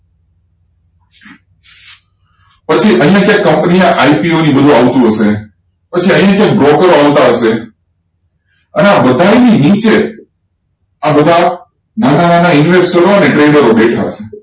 પછી અહીંયા છે company આ IPO ને બધું આવતું હશે પછી અહીં રીતે આવતા હશે અને આ બધાયની નીચે આ બધા નાના નાના investor ઓ ને trader ઓ દેખાતા હશે